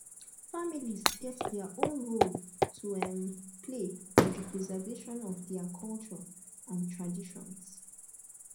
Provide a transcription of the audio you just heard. families get their own role to um play also for di preservation of their cultures and traditions